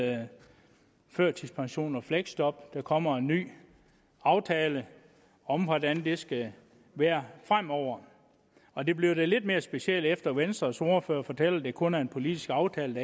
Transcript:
med førtidspension og fleksjob der kommer en ny aftale om hvordan det skal være fremover og det blev da lidt mere specielt efter at venstres ordfører fortalte at det kun er en politisk aftale